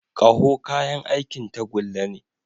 Ƙaho kayan aikin tagulla ne.